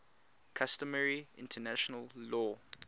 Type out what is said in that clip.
customary international law